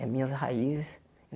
É minhas raízes.